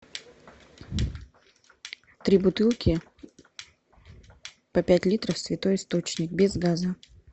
три бутылки по пять литров святой источник без газа